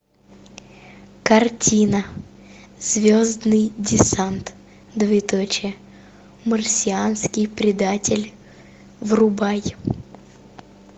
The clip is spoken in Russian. картина звездный десант двоеточие марсианский предатель врубай